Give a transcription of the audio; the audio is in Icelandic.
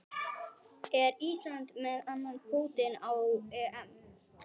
Er Ísland með annan fótinn á EM?